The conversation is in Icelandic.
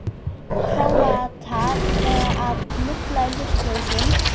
Króatar að lulla í hlutlausum?